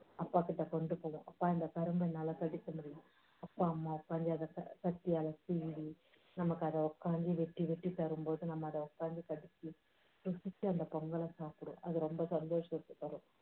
அப்பா கிட்ட கொண்டு போவோம். அப்பா இந்த கரும்ப என்னால கடிக்க முடியலை. அப்பா அம்மா உக்காந்து அதை கத்தியால கீறி, நமக்கு அதை உக்காந்து வெட்டி வெட்டி தரும் போது அதை நம்ம உக்காந்து கடிச்சு ருசிச்சி அந்தப் பொங்கலை சாப்பிடுவோம். அது ரொம்ப சந்தோஷத்தை தரும்